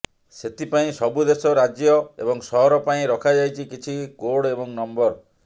ସେଥିପାଇଁ ସବୁ ଦେଶ ରାଜ୍ଯ ଏବଂ ସହର ପାଇଁ ରଖାଯାଇଛି କିଛି କୋର୍ଡ ଏବଂ ନମ୍ବର